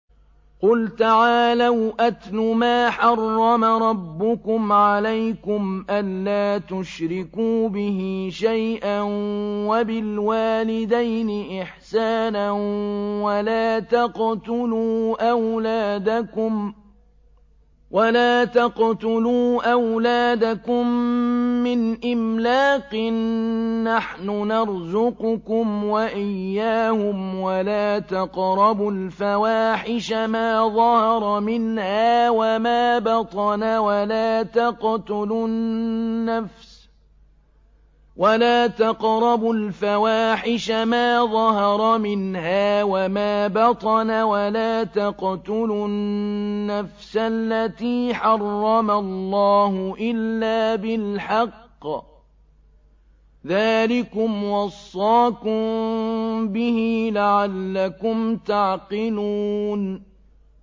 ۞ قُلْ تَعَالَوْا أَتْلُ مَا حَرَّمَ رَبُّكُمْ عَلَيْكُمْ ۖ أَلَّا تُشْرِكُوا بِهِ شَيْئًا ۖ وَبِالْوَالِدَيْنِ إِحْسَانًا ۖ وَلَا تَقْتُلُوا أَوْلَادَكُم مِّنْ إِمْلَاقٍ ۖ نَّحْنُ نَرْزُقُكُمْ وَإِيَّاهُمْ ۖ وَلَا تَقْرَبُوا الْفَوَاحِشَ مَا ظَهَرَ مِنْهَا وَمَا بَطَنَ ۖ وَلَا تَقْتُلُوا النَّفْسَ الَّتِي حَرَّمَ اللَّهُ إِلَّا بِالْحَقِّ ۚ ذَٰلِكُمْ وَصَّاكُم بِهِ لَعَلَّكُمْ تَعْقِلُونَ